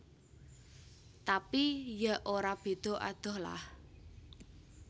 Tapi ya ora beda adoh lah